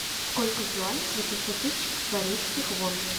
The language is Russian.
сколько в юанях восемьсот тысяч корейских вон